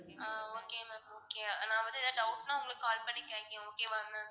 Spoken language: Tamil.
ஆஹ் okay ma'am okay நான் வந்து ஏதாவது doubt னா உங்களுக்கு call பண்ணி கேக்குறேன் okay வா ma'am